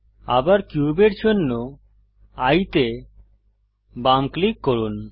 আবার কিউবের জন্য এয়ে তে বাম ক্লিক করুন